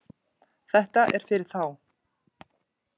Þetta er fyrir þá